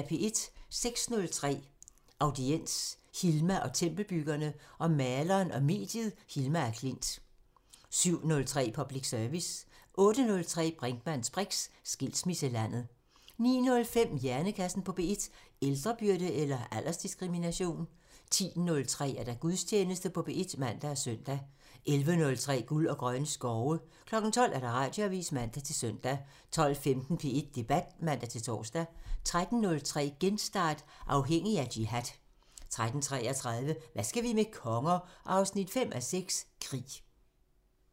06:03: Audiens: Hilma og tempelbyggerne- om maleren og mediet Hilma af Klint 07:03: Public Service 08:03: Brinkmanns briks: Skilsmisselandet 09:05: Hjernekassen på P1: Ældrebyrde eller aldersdiskrimination? 10:03: Gudstjeneste på P1 (man og søn) 11:03: Guld og grønne skove 12:00: Radioavisen (man-søn) 12:15: P1 Debat (man-tor) 13:03: Genstart: Afhængig af jihad 13:33: Hvad skal vi med konger? 5:6 – Krig